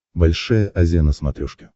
большая азия на смотрешке